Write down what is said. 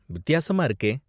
வித்தியாசமா இருக்கே!